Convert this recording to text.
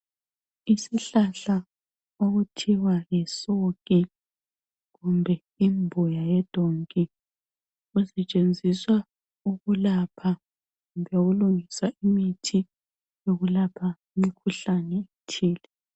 Isihlahla okuthiwa yisuke kumbe imbuya yedonki usetshenziswa ukulapha kumbe ukulungisa imithi yokulapha imikhuhlane etshiyeneyo.